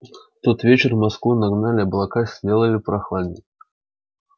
в тот вечер в москву нагнали облака сделали попрохладней